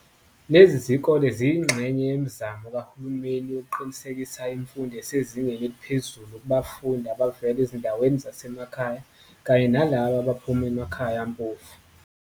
Lezi zikole ziyingxenye yemizamo kaHulumeni yokuqinisekisa imfundo esezingeni eliphezulu kubafundi abavela ezindaweni zasemakhaya kanye nalabo abaphuma emakhaya ampofu.